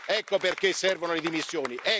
Ecco perché servono le dimissioni.